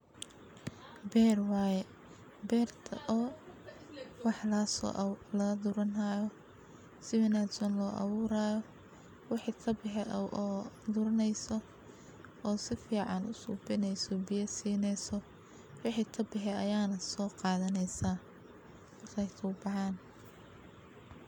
Beer waye beerta oo wax lagaso guran hayo si wanagsan lo aburi hayo wixi kabaxe oo guraneyso oo si fican u subineyso biya sineyso wixi sobaxe aya soqadhaneysa sifa ee kugu baxan.